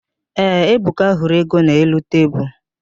Ee, Ebuka hụrụ ego n'elu tebulu.